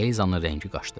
Elizanın rəngi qaçdı.